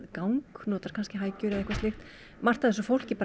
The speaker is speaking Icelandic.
gang notar kannski hækjur eða eitthvað slíkt margt af þessu fólki